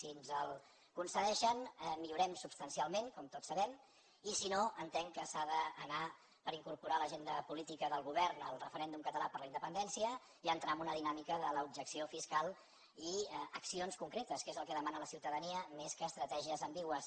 si ens el concedeixen millorem substancialment com tots sabem i si no entenc que s’ha d’anar per incorporar a l’agenda política del govern el referèndum català per la independència i entrar en una dinàmica de l’objecció fiscal i accions concretes que és el que demana la ciutadania més que estratègies ambigües